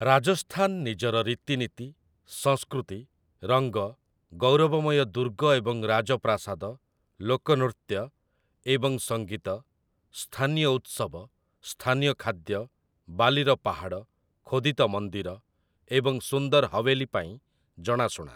ରାଜସ୍ଥାନ ନିଜର ରୀତିନୀତି, ସଂସ୍କୃତି, ରଙ୍ଗ, ଗୌରବମୟ ଦୁର୍ଗ ଏବଂ ରାଜପ୍ରାସାଦ, ଲୋକନୃତ୍ୟ ଏବଂ ସଙ୍ଗୀତ, ସ୍ଥାନୀୟ ଉତ୍ସବ, ସ୍ଥାନୀୟ ଖାଦ୍ୟ, ବାଲିର ପାହାଡ଼, ଖୋଦିତ ମନ୍ଦିର ଏବଂ ସୁନ୍ଦର ହୱେଲୀ ପାଇଁ ଜଣାଶୁଣା ।